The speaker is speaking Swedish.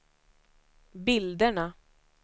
bilderna